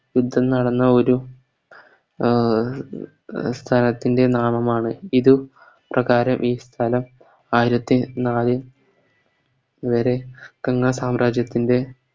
യുദ്ധം നടന്ന ഒരു അഹ് ഒരു സ്ഥലത്തിൻറെ നാമമാണ് ഇത് പ്രകാരം ഈ സ്ഥലം ആയിരത്തി നാല് വെരെ വങ്ക സാമ്രാജ്യത്തിൻറെ